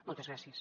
moltes gràcies